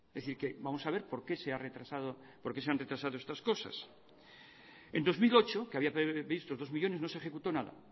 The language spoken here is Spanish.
vamos a ver porque se han retrasado estas cosas en dos mil ocho que había previsto dos millónes no se ejecutó nada